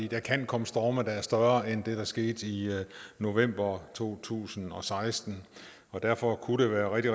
der kan komme storme der er større end det der skete i november to tusind og seksten og derfor kunne det være rigtig